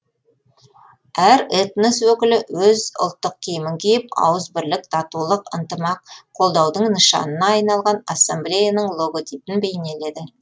әр этнос өкілі өз ұлттық киімін киіп ауызбірлік татулық ынтымақ қолдаудың нышанына айналған ассамблеяның логотипін бейнеледі